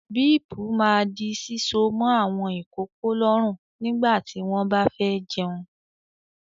Bíípù máà di síso mọ́ àwọn ìkókó lọ́rùn nígbà tí wọ́n bá fẹ́ jẹun.